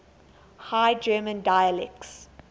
high german dialects